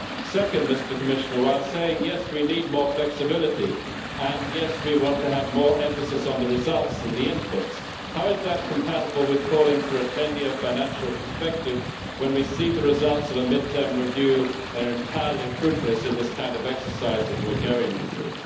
Second, Mr Commissioner, while saying yes', we need more flexibility, and yes', we want to have more emphasis on the results and the inputs, how is that compatible with calling for a 10 year financial perspective when we see the results of a mid term review are entirely fruitless in this kind of exercise that we are going through?